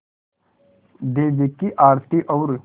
देवी की आरती और